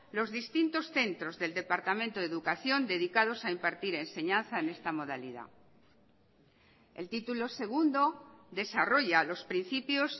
los distintos centros del departamento de educación dedicados a impartir enseñanza en esta modalidad el título segundo desarrolla los principios